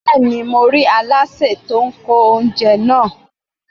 Bẹ́ẹ̀ni, mo rí Aláṣẹ tí ó ń kó oúnjẹ náà.